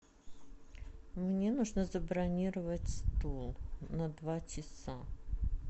мне нужно забронировать стол на два часа